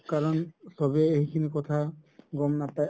কাৰণ চবেই এইখিনি কথা গ'ম নাপাই